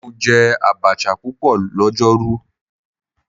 Mo jẹ abacha pupọ lọjọru